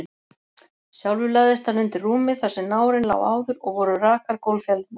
Sjálfur lagðist hann undir rúmið þar sem nárinn lá áður, og voru rakar gólffjalirnar.